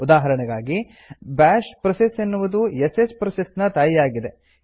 ಉದಾಹರಣೆಗಾಗಿ bash process ಎನ್ನುವುದು sh process ನ ತಾಯಿಯಾಗಿದೆ